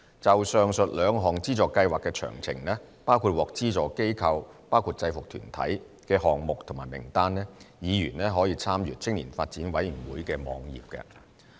就上述兩項資助計劃的詳請，包括獲資助機構及項目的名單，議員可參閱青年發展委員會網頁。